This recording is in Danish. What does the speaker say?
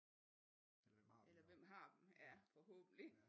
Eller hvem har dem ja forhåbentlig